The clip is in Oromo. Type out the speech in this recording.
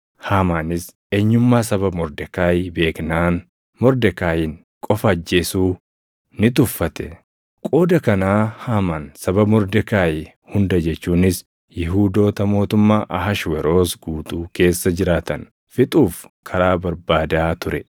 Haamaanis eenyummaa saba Mordekaayi beeknaan Mordekaayiin qofa ajjeesuu ni tuffate. Qooda kanaa Haamaan saba Mordekaayi hunda jechuunis Yihuudoota mootummaa Ahashweroos guutuu keessa jiraatan fixuuf karaa barbaadaa ture.